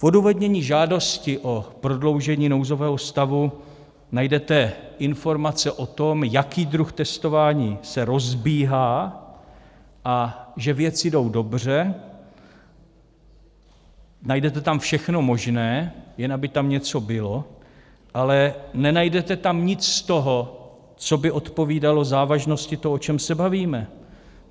V odůvodnění žádosti o prodloužení nouzového stavu najdete informace o tom, jaký druh testování se rozbíhá a že věci jdou dobře, najdete tam všechno možné, jen aby tam něco bylo, ale nenajdete tam nic z toho, co by odpovídalo závažnosti toho, o čem se bavíme.